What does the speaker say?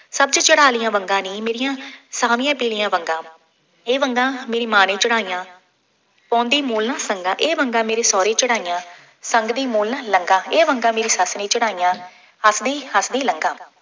ਸਭ ਤੋਂ ਚੜ੍ਹਾ ਲਈਆਂ ਵੰਗਾਂ ਨੀਂ, ਮੇਰੀਆਂ ਛਾਹਵੀਆਂ ਪੀਲੀਆਂ ਵੰਗਾਂ, ਇਹ ਵੰਗਾਂ ਮੇਰੀ ਮਾਂ ਨੇ ਚੜ੍ਹਾਈਆਂ, ਪਾਉਂਦੀ ਮੁੱਲ ਸੰਗਾਂ, ਇਹ ਵੰਗਾਂ ਮੇਰੇ ਸਹੁਰੇ ਚੜ੍ਹਾਈਆਂ, ਸੰਗਦੀ ਮੂਹਰੋਂ ਨਾ ਲੰਘਾਂ, ਇਹ ਵੰਗਾਂ ਮੇਰੀ ਸੱਸ ਨੇ ਚੜ੍ਹਾਈਆਂ, ਹੱਸਦੀ ਹੱਸਦੀ ਲੰਘਾਂ।